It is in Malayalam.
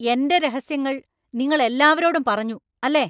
എന്‍റെ രഹസ്യങ്ങൾ നിങ്ങൾ എല്ലാവരോടും പറഞ്ഞു അല്ലെ?